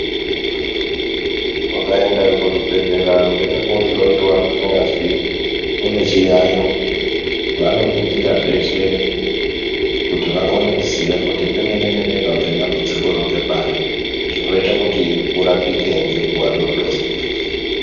Mukaenda kuzvibhedhlera weida kohloiwa kunyazwi unochiyayo. Vanoningira zveshe kuti vakone kuziya kuti pemene-mene pabvadambudzikoro ngepari. Zvinoite kuti urapike ngenguva dodori.